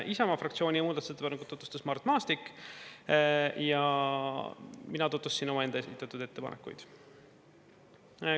Isamaa fraktsiooni muudatusettepanekut tutvustas Mart Maastik ja mina tutvustasin omaenda esitatud ettepanekuid.